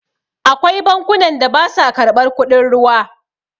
Akwai bankunan da basa karɓar kudin ruwa.